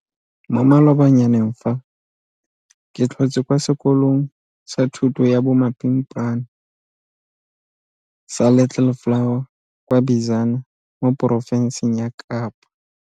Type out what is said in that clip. Mo malobanyaneng fa ke tlhotse kwa sekolong sa thuto ya bomapimpana sa Little Flower kwa Bizana mo porofenseng ya Kapa.